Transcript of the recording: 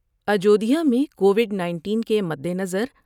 اجودھیا میں کووڈ ۔ 19 کے مدنظر